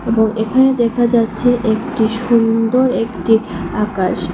এবং এখানে দেখা যাচ্ছে একটি সুন্দর একটি আকাশ।